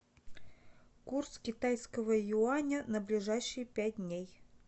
курс китайского юаня на ближайшие пять дней